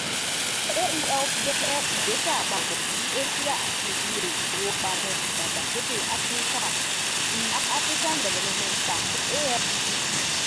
AELP jẹ igbesẹ apapọ ti Asia ati Ile-ifowopamọ Idagbasoke Afirika cs]the African Development Bank AfDB